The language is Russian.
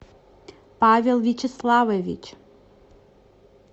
павел вячеславович